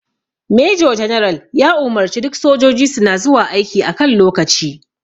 Major general ya umarce duk sojiji suna zuwa aiki a kan lokaci